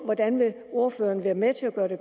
hvordan vil ordføreren være med til at gøre det